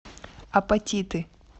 апатиты